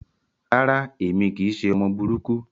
Rárá, èmi kìí ṣe ọmọ burúkú.